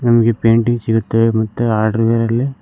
ನಮಗೆ ಪೇಂಟಿಂಗ್ ಸಿಗುತ್ತೆ ಮತ್ತೆ ಹಾರ್ಡ್ವೇರ್ ಅಲ್ಲಿ.